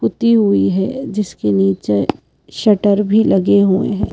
उती हुई है जिसके नीचे शटर भी लगे हुए हैं।